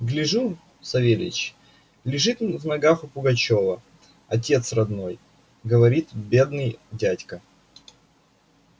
гляжу савельич лежит в ногах у пугачёва отец родной говорил бедный дядька